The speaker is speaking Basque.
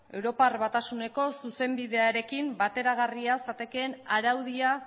europar batasuneko zuzenbidearekin bateragarria zatekeen araudia